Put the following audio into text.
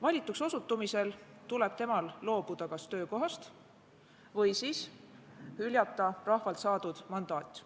Valituks osutumisel tuleb tal loobuda kas töökohast või hüljata rahvalt saadud mandaat.